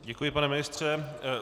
Děkuji, pane ministře.